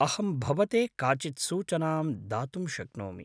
अहम् भवते काचित् सूचनां दातुं शक्नोमि।